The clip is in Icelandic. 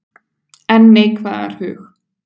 En neikvæðar hug